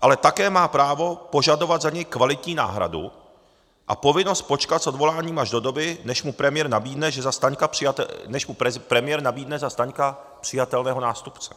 ale také má právo požadovat za něj kvalitní náhradu a povinnost počkat s odvoláním až do doby, než mu premiér nabídne za Staňka přijatelného nástupce.